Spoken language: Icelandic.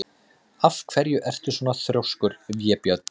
Af hverju ertu svona þrjóskur, Vébjörn?